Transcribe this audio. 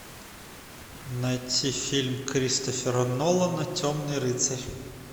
найти фильм кристофера нолана темный рыцарь